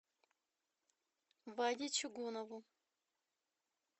ваде чугунову